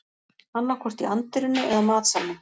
Annaðhvort í anddyrinu eða matsalnum